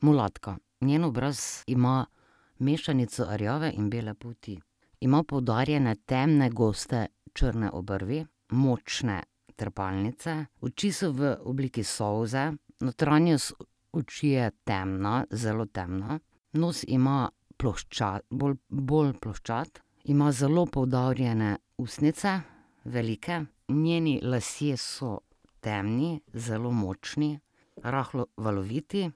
Mulatka. Njen obraz ima mešanico rjave in bele polti. Ima poudarjene temne, goste črne obrvi, močne trepalnice. Oči so v obliki solze, notranjost oči je temna, zelo temna. Nos ima ploščat, bolj, bolj ploščat. Ima zelo poudarjene ustnice, velike. Njeni lasje so temni, zelo močni, rahlo valoviti.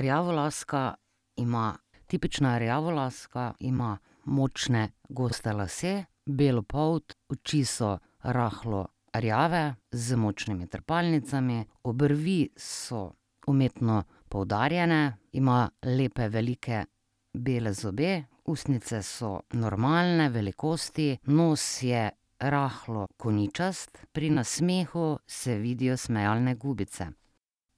Rjavolaska ima, tipična rjavolaska ima močne goste lase, belo polt. Oči so rahlo rjave z močnimi trepalnicami. Obrvi so umetno poudarjene. Ima lepe, velike bele zobe. Ustnice so normalne velikosti. Nos je rahlo koničast, pri nasmehu se vidijo smejalne gubice.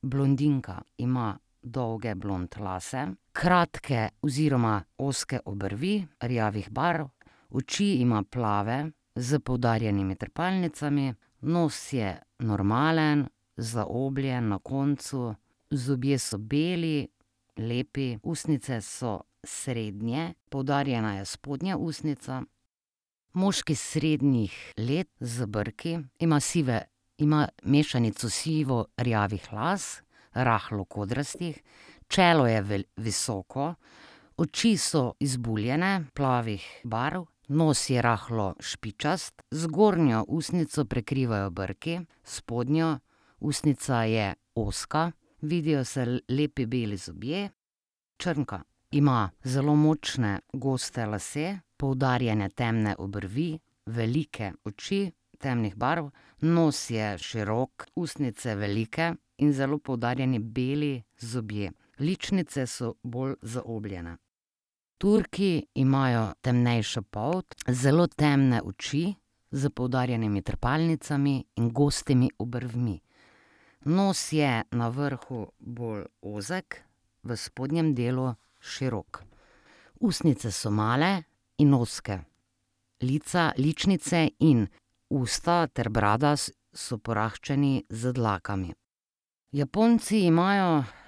Blondinka ima dolge blond lase, kratke oziroma ozke obrvi rjavih barv. Oči ima plave s poudarjenimi trepalnicami. Nos je normalen, zaobljen na koncu. Zobje so beli, lepi. Ustnice so srednje, poudarjena je spodnja ustnica. Moški srednjih let z brki. Ima sive, ima mešanico sivo-rjavih las, rahlo kodrastih. Čelo je visoko, oči so izbuljene, plavih barv. Nos je rahlo špičast. Zgornjo ustnico prekrivajo brki, spodnja ustnica je ozka. Vidijo se lepi beli zobje. Črnka. Ima zelo močne goste lase, poudarjene temne obrvi, velike oči temnih barv, nos je širok, ustnice velike in zelo poudarjeni beli zobje. Ličnice so bolj zaobljene. Turki imajo temnejšo polt, zelo temne oči s poudarjenimi trepalnicami in gostimi obrvmi. Nos je na vrhu bolj ozek, v spodnjem delu širok. Ustnice so male in ozke. Lica, ličnice in usta ter brada so poraščeni z dlakami. Japonci imajo,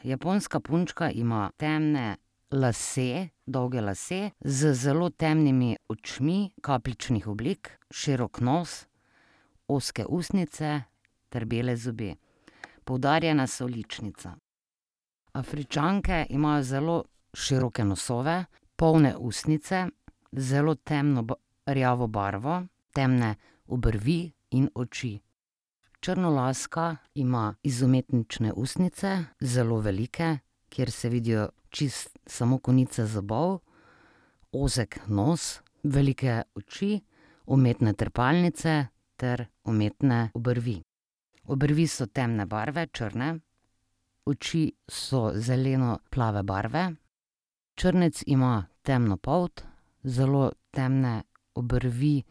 japonska punčka ima temne lase, dolge lase z zelo temnimi očmi kapljičnih oblik, širok nos, ozke ustnice ter bele zobe. Poudarjena so ličnica. Afričanke imajo zelo široke nosove, polne ustnice, zelo temno rjavo barvo, temne obrvi in oči. Črnolaska ima izumetničene ustnice, zelo velike, kjer se vidijo čisto samo konice zobov, ozek nos, velike oči, umetne trepalnice ter umetne obrvi. Obrvi so temne barve, črne. Oči so zeleno plave barve. Črnec ima temno polt, zelo temne obrvi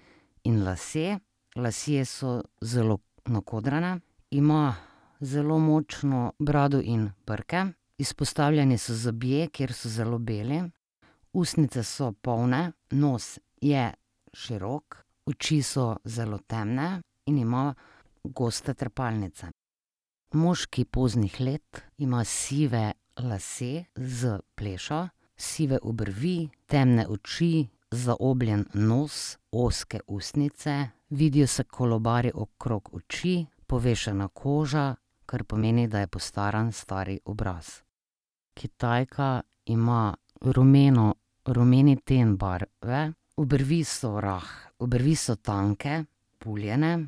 in lase, lasje so zelo nakodrani. Ima zelo močno brado in brke. Izpostavljeni so zobje, ker so zelo beli. Ustnice so polne, nos je širok. Oči so zelo temne in ima goste trepalnice. Moški poznih let ima sive lase s plešo, sive obrvi, temne oči, zaobljen nos, ozke ustnice, vidijo se kolobarji okrog oči, povešena koža, kar pomeni, da je postaran stari obraz. Kitajka ima rumeno, rumeni ten barve, obrvi so obrvi so tanke, puljene.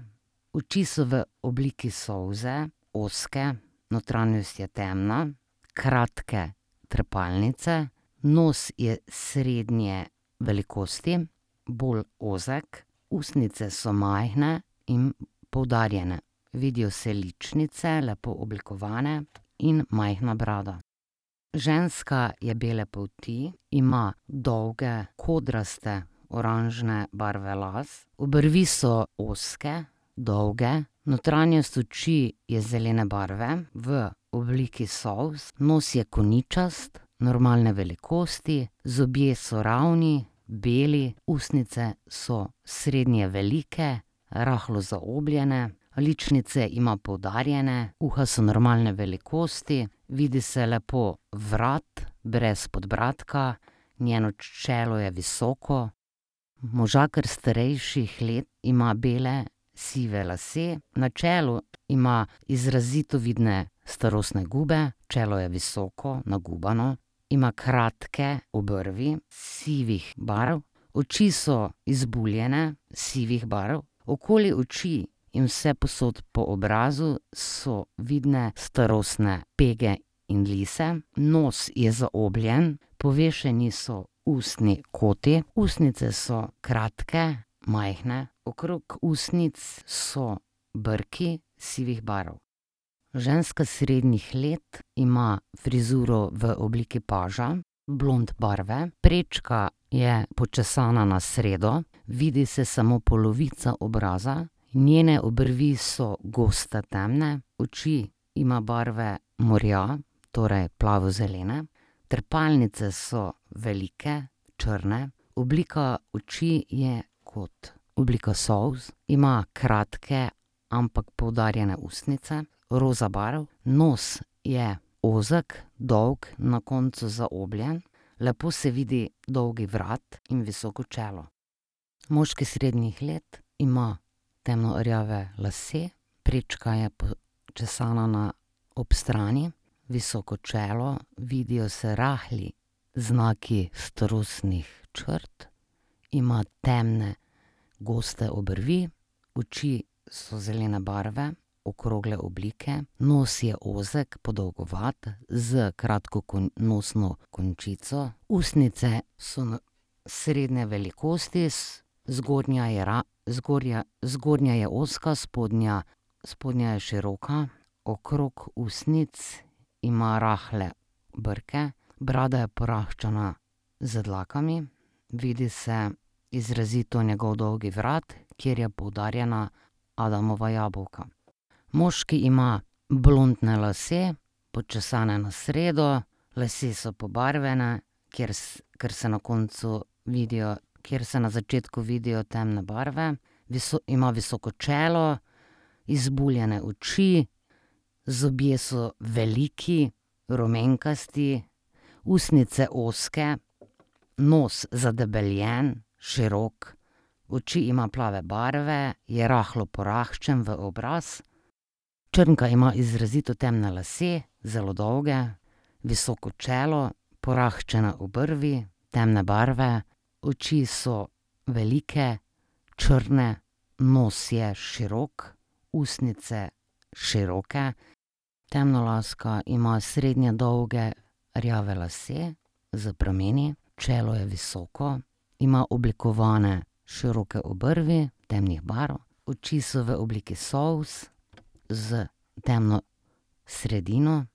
Oči so v obliki solze, ozke, notranjost je temna, kratke trepalnice. Nos je srednje velikosti, bolj ozek. Ustnice so majhne in poudarjene. Vidijo se ličnice, lepo oblikovane, in majhna brada. Ženska je bele polti. Ima dolge, kodraste, oranžne barve las. Obrvi so ozke, dolge, notranjost oči je zelene barve v obliki solz. Nos je koničast, normalne velikosti. Zobje so ravni, beli. Ustnice so srednje velike, rahlo zaobljene. Ličnice ima poudarjene. Uha so normalne velikosti. Vidi se lepo vrat, brez podbradka. Njeno čelo je visoko. Možakar starejših let ima bele, sive lase. Na čelu ima izrazito vidne starostne gube. Čelo je visoko, nagubano. Ima kratke obrvi sivih barv. Oči so izbuljene, sivih barv. Okoli oči in vsepovsod po obrazu so vidne starostne pege in lise. Nos je zaobljen, povešeni so ustni koti. Ustnice so kratke, majhne. Okrog ustnic so brki sivih barv. Ženska srednjih let ima frizuro v obliki paža, blond barve. Prečka je počesana na sredo. Vidi se samo polovica obraza. Njene obrvi so goste, temne. Oči ima barve morja, torej plavo zelene. Trepalnice so velike, črne, oblika oči je kot oblika solz. Ima kratke, ampak poudarjene ustnice roza barv. Nos je ozek, dolg, na koncu zaobljen. Lepo se vidi dolg vrat in visoko čelo. Moški srednjih let ima temno rjave lase, prečka je počesana na, ob strani, visoko čelo. Vidijo se rahli znaki starostnih črt. Ima temne, goste obrvi. Oči so zelene barve, okrogle oblike. Nos je ozek, podolgovat s kratko nosno končico. Ustnice so srednje velikosti zgornja je zgornja, zgornja je ozka, spodnja, spodnja je široka. Okrog ustnic ima rahle brke. Brada je poraščena z dlakami. Vidi se izrazito njegov dolgi vrat, kjer je poudarjena Adamova jabolka. Moški ima blondne lase, počesane na sredo. Lasje so pobarvane, kjer, ker se na koncu vidijo, kjer se na začetku vidijo temne barve. ima visoko čelo, izbuljene oči, zobje so veliki, rumenkasti, ustnice ozke, nos zadebeljen, širok. Oči ima plave barve. Je rahlo poraščen v obraz. Črnka ima izrazito temne zelo, dolge lase, visoko čelo, porahčena obrvi temne barve. Oči so velike, črne. Nos je širok, ustnice široke. Temnolaska ima srednje dolge rjave lase s prameni. Čelo je visoko. Ima oblikovane široke obrvi temnih barv. Oči so v obliki solz s temno sredino.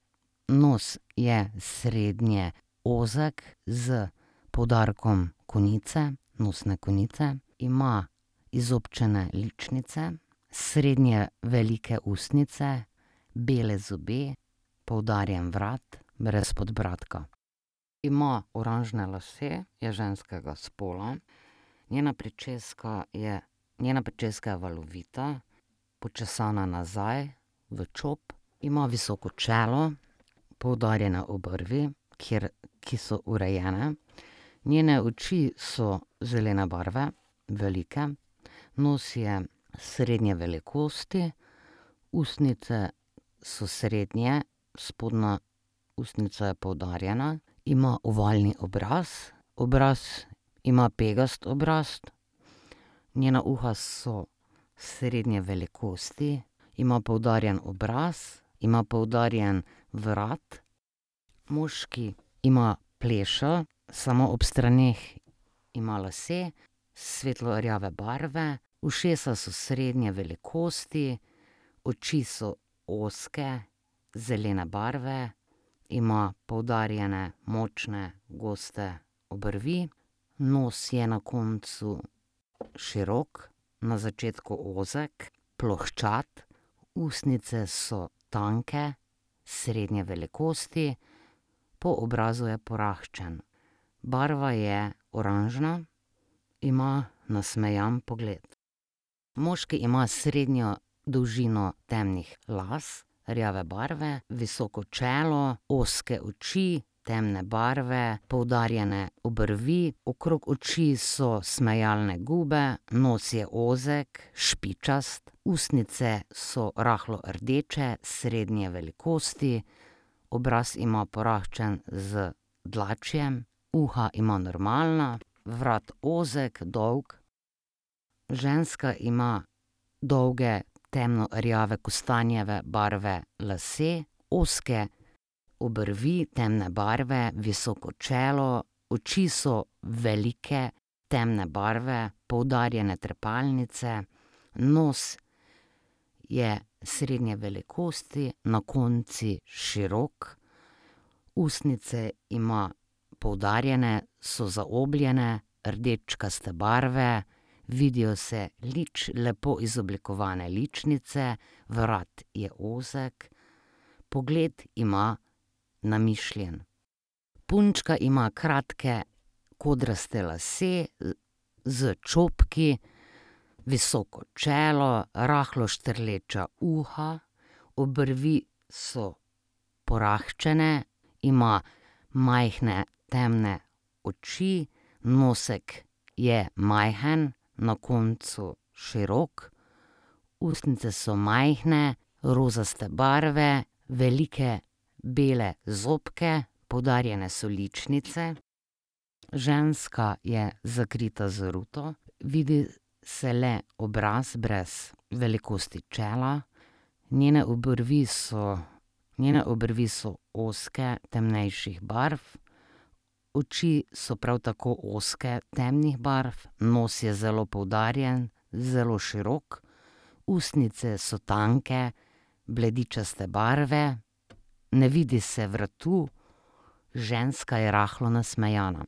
Nos je srednje ozek s poudarkom konice, nosne konice. Ima izobčene ličnice, srednje velike ustnice, bele zobe, poudarjen vrat brez podbradka. Ima oranžne lase. Je ženskega spola. Njena pričeska je, njena pričeska je valovita, počesana je nazaj v čop. Ima visoko čelo, poudarjene obrvi, kjer, ki so urejene. Njene oči so zelene barve, velike. Nos je srednje velikosti. Ustnice so srednje, spodnja ustnica je poudarjena. Ima ovalni obraz. Obraz ima pegast obraz. Njena uha so srednje velikosti. Ima poudarjen obraz, ima poudarjen vrat. Moški ima plešo, samo ob straneh ima lase svetlo rjave barve. Ušesa so srednje velikosti. Oči so ozke, zelene barve. Ima poudarjene močne, goste obrvi. Nos je na koncu širok, na začetku ozek, plohčat. Ustnice so tanke, srednje velikosti. Po obrazu je poraščen. Barva je oranžna. Ima nasmejan pogled. Moški ima srednjo dolžino temnih las rjave barve, visoko čelo, ozke oči temne barve, poudarjene obrvi. Okrog oči so smejalne gube, nos je ozek, špičast. Ustnice so rahlo rdeče srednje velikosti. Obraz ima poraščen z dlačjem. Uha ima normalna, vrat ozek, dolg. Ženska ima dolge temno rjave kostanjeve barve lase, ozke obrvi temne barve, visoko čelo. Oči so velike, temne barve, poudarjene trepalnice. Nos je srednje velikosti, na koncu širok. Ustnice ima poudarjene, so zaobljene, rdečkaste barve. Vidijo se lepo izoblikovane ličnice. Vrat je ozek. Pogled ima namišljen. Punčka ima kratke kodraste lase, s čopki, visoko čelo, rahlo štrleča uha. Obrvi so porahčene. Ima majhne temne oči. Nosek je majhen, na koncu širok. Ustnice so majhne, rozaste barve, velike bele zobke, poudarjene so ličnice. Ženska je zakrita z ruto. Vidi se le obraz brez velikosti čela. Njene obrvi so, njene obrvi so ozke, temnejših barv. Oči so prav tako ozke, temnih barv. Nos je zelo poudarjen, zelo širok. Ustnice so tanke, bledičaste barve. Ne vidi se vratu. Ženska je rahlo nasmejana.